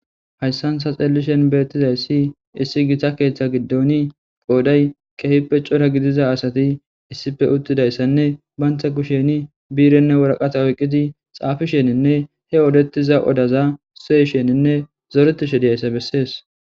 Haysan ta xeelishin beetizaysi, issi gita keetha giidoni qooday kehipe cora gidiza asati issipe utidaysanne, banta kusheni bi'renne warkate oykiddi xafishenine ,he oddetiza oddaza siyisheninne zoretishe dizaysa besees.